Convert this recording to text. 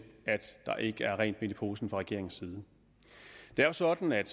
der ikke er rent mel i posen fra regeringens side det er jo sådan at